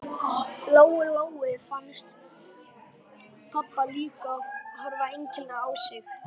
Lóu Lóu fannst pabbi líka horfa einkennilega á sig.